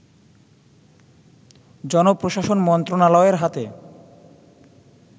জনপ্রশাসন মন্ত্রণালয়ের হাতে